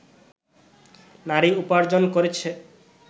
নারী উপার্জন করেছে